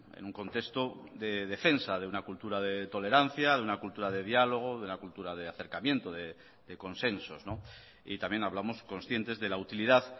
en un contexto de defensa de una cultura de tolerancia de una cultura de diálogo de una cultura de acercamiento de consensos y también hablamos conscientes de la utilidad